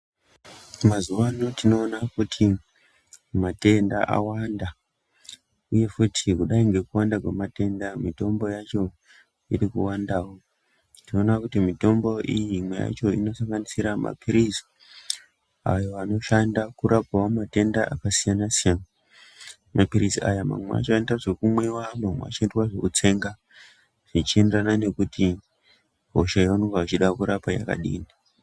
Mazuva ano tinoona kuti matenda awanda, uye futi kudai kwekuwanda kwematenda ngemitombo yacho iri kuvandavo. Tinoona kuti mitombo iyi imwe yacho inosanganisira maphirizi ayo anoshanda kurapavo matenda akasiyana-siyana, maphirizi aya mamwe acho anoita zvekumwiva mamwe acho anoita zvekutsenga. Zvichienderana nekuti hosha yavanenge vachida kurapa yakadini.